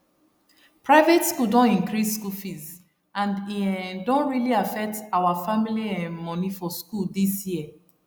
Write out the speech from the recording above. private school don increase school fees and e um don really affect our family um money for school this year